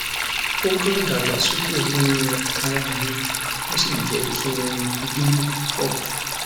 o kan dagbasoke ninu ara mi o si jẹ ki n binu pupọ